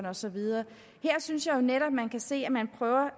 og så videre jeg synes jo netop at man kan se